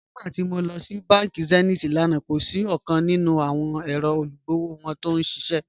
Nígbàtí mó lọ sí bánkì Zenith lánà, kò sí ọ̀kan nínu awọn èrò igbóòwò wọn tí n ṣiṣẹ́.